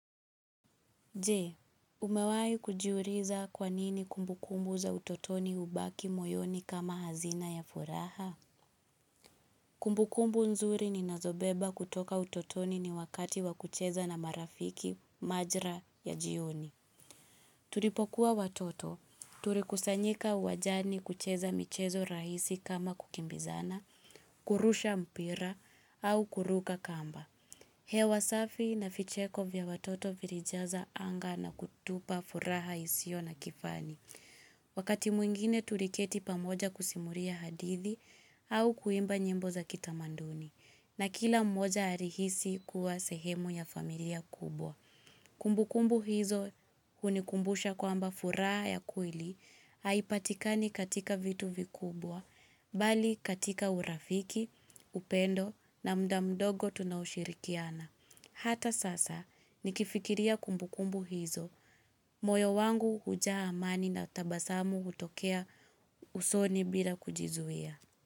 Jee, umewai kujiuliza kwanini kumbukumbu za utotoni hubaki moyoni kama hazina ya furaha? Kumbukumbu nzuri ni nazobeba kutoka utotoni ni wakati wakucheza na marafiki majira ya jioni. Tulipokuwa watoto, turikusanyika wanjani kucheza michezo rahisi kama kukimbizana, kurusha mpira au kuruka kamba. Hewa wasafi na vicheko vya watoto virijaza anga na kutupa furaha isiyo na kifani. Wakati mwingine tuliketi pamoja kusimuria hadithi au kuimba nyimbo za kitamanduni. Na kila mmoja arihisi kuwa sehemu ya familia kubwa. Kumbu kumbu hizo hunikumbusha kwa amba furaha ya kweli haipatikani katika vitu vikubwa, bali katika urafiki, upendo na mda mdogo tunashirikiana. Hata sasa, nikifikiria kumbukumbu hizo. Moyo wangu hujaa amani na tabasamu hutokea usoni bila kujizuia.